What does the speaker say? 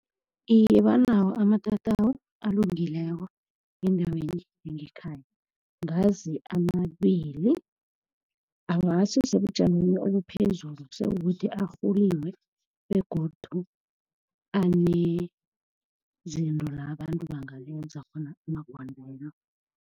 Iye, banawo amatatawu alungileko ngendaweni yangekhaya. Ngazi amabili awasi sebujameni obuphezulu, sekukuthi arhuliwe begodu anezinto la abantu amagondelo.